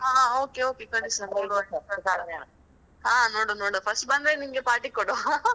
ಹಾ ಹಾ okay okay ಕಳಿಸು. ಹಾ ನೋಡುವ ನೋಡುವ ಕಳಿಸು first ಬಂದ್ರೆ ನಿಂಗೆ party ಕೊಡುವಾ